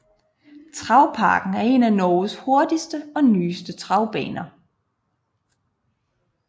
Travparken er en af Norges hurtigste og nyeste travbaner